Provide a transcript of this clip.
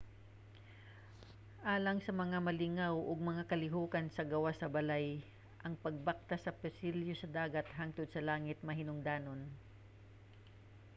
alang sa mga malingaw og mga kalihokan sa gawas sa balay ang pagbaktas sa pasilyo sa dagat hangtod sa langit mahinungdanon